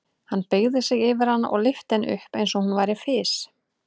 Hann beygði sig yfir hana og lyfti henni upp eins og hún væri fis.